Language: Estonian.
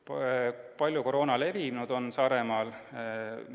Kui palju on koroona Saaremaal levinud?